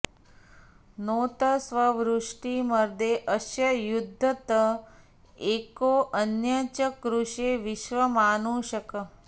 नोत स्ववृ॑ष्टिं॒ मदे॑ अस्य॒ युध्य॑त॒ एको॑ अ॒न्यच्च॑कृषे॒ विश्व॑मानु॒षक्